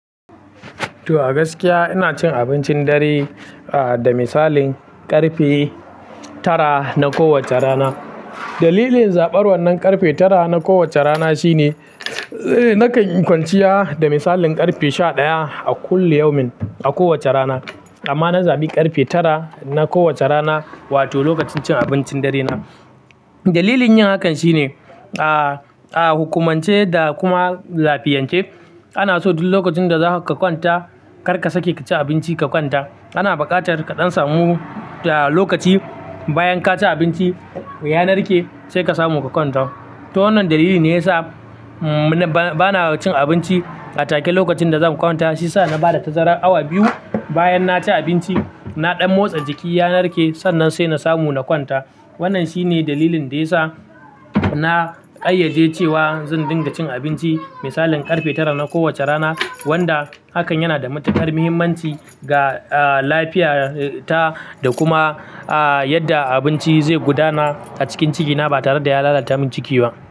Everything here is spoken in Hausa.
To a gaskiya ina cin abincin dare, ah, da misalin karfe tara na kowacce rana. Dalilin zabar wannan karfe tara na kowacce rana shine, eh, nakan kwanciya da misalin karfe sha ɗaya a kullum yaumin a kowacce rana. Amma na zabi karfe tara na kowacce rana, wato lokacin cin abincin dare na. Dalilin yin hakan shine, ah, ah, hukumance da kuma lafiyance. Ana so duk lokacin da za ka kwanta kar ka sake ka ci abinci ka kwanta. Ana buƙatar ka ɗan samu, ah, lokaci bayan ka ci abinci ya narke sai ka samu ka kwanta. To wannan dalili ne yasa, mm, ba-bana cin abinci a take lokacin da za mu kwanta shiyasa na bada tazarar awa biyu bayan na ci abinci, na ɗan motsa jiki ya narke sannan sai na samu na kwanta. Wannan shine dalilin da ya sa na ƙayyade cewa zan dinga cin abinci misalin karfe tara na kowacce rana, wanda hakan yana da matuƙar muhimmanci ga, ah, lafiya, eh, ta da kuma, ah, yadda abinci zai gudana a cikin jikina ba tare da ya lalata min jiki ba.